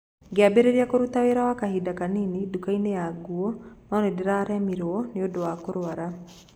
Ngĩambĩrĩria kũruta wĩra wa kahinda kanini nduka-inĩ ya nguo, no nĩ ndaaremirũo nĩ ũndũ wa kũrũara.